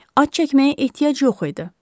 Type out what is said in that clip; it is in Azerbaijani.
Ad çəkməyə ehtiyac yox idi.